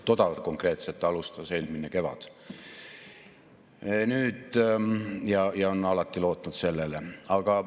Toda konkreetset alustas ta eelmine kevad ja on alati sellele lootnud.